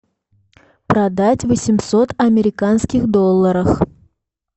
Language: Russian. продать восемьсот американских долларов